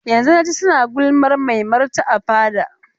Yanzun na ji su suna gulmar maimarta a fada.